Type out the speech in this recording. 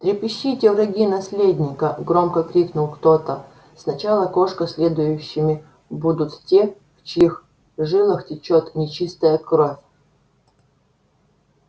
трепещите враги наследника громко крикнул кто-то сначала кошка следующими будут те в чьих жилах течёт нечистая кровь